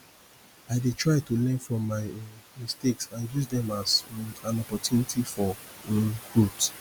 i dey try to learn from my um mistakes and use dem as um an opportunity for um growth